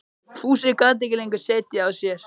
Fúsi gat ekki lengur setið á sér.